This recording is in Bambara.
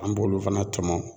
An b'olu fana tɔmɔ.